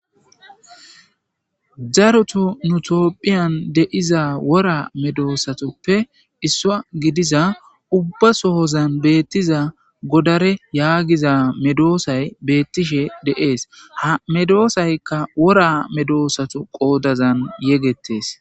Darotu tophiyan de'iza wora medosatuppe issuwa gidiza ubbasoha tawu betiza godara yagiza medosayi betishe de'es ha medosayka wora medossatu qodazan yegetes.